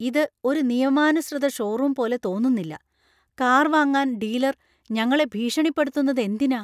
ഇത് ഒരു നിയമാനുസൃത ഷോറൂം പോലെ തോന്നുന്നില്ല . കാർ വാങ്ങാൻ ഡീലർ ഞങ്ങളെ ഭീഷണിപ്പെടുത്തുന്നത്എന്തിനാ?